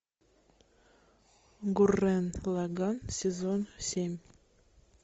гуррен лаганн сезон семь